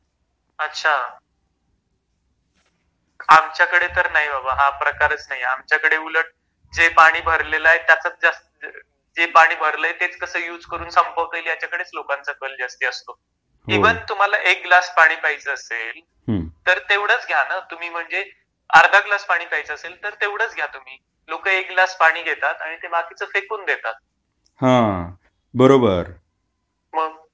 अच्छा...आमच्याकडे तर नाही बाबा हा प्रकारच नाही आमच्याकडे तर उलट जे पाणी भरलेल आहे त्याचाच जास्त अ जे पाणी भरलेल आहे ते कस संपवता येईल त्याच्याकडेच लोकांचा कल जास्ती असतो हो ईवन तुम्हाला एक ग्लास पाणी प्यायच असेल हम्म तर तेवढ च घ्या ना...अर्ध ग्लास घ्यायच असेल तर तेवढ च घ्या तुम्ही लोक एक ग्लास पाणी घेतात आणि ते बाकीच फेकून देतात हा बरोबर मग